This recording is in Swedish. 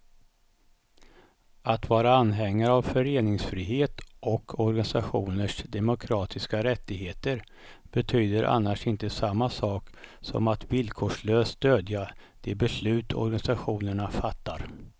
Att vara anhängare av föreningsfrihet och organisationers demokratiska rättigheter betyder annars inte samma sak som att villkorslöst stödja de beslut organisationerna fattar.